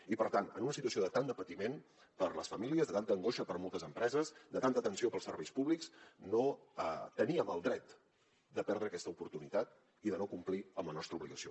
i per tant en una situació de tant de patiment per a les famílies de tanta angoixa per a moltes empreses de tanta tensió per als serveis públics no teníem el dret de perdre aquesta oportunitat i de no complir amb la nostra obligació